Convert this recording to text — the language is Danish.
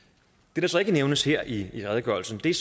det der så ikke nævnes her i redegørelsen er